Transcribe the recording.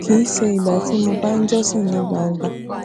kì í ṣe ìgbà tí mo bá ń jósìn ní gbangba